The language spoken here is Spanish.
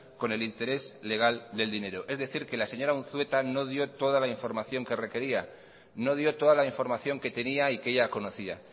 con el interés legal del dinero es decir que la señora unzueta no dio toda la información que requería no dio toda la información que tenía y que ella conocía